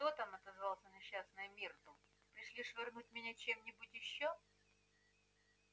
кто там отозвалась несчастная миртл пришли швырнуть в меня чем-нибудь ещё